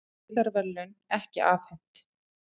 Friðarverðlaun ekki afhent